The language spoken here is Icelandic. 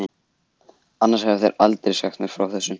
Annars hefðu þeir aldrei sagt mér frá þessu.